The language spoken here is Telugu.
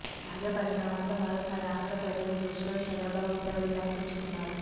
తాజా పరిణామాలతో మరోసారి ఆంధ్ర ప్రజల దృష్టిలో చంద్రబాబు ఊసరవెల్లి అనిపించుకున్నారు